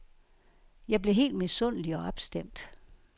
Jeg blev helt misundelig og opstemt.